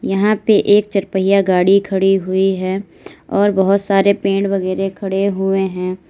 यहां पे एक चारपहिया गाड़ी खड़ी हुई है और बहोत सारे पेड़ वगैरा खड़े हुए है।